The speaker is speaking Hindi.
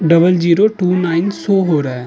Double zero two nine show हो रहा है।